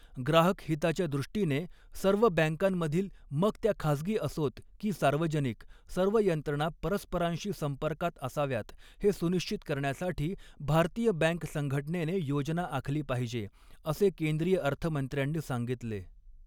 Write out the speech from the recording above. ग्राहक हिताच्या दृष्टीने सर्व बँकांमधील मग त्या खाजगी असोत की सार्वजनिक सर्व यंत्रणा परस्परांशी संपर्कात असाव्यात हे सुनिश्चित करण्यासाठी भारतीय बॅँक संघटनेने योजना आखली पाहिजे, असे केंद्रीय अर्थमंत्र्यांनी सांगितले.